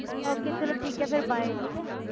Okay ਚਲੋ ਠੀਕ ਹੈ ਫਿਰ bye ਠੀਕ ਹੈ।